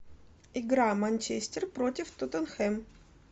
игра манчестер против тоттенхэм